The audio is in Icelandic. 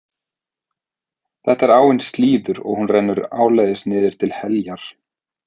Þetta er áin Slíður og hún rennur áleiðis niður til Heljar.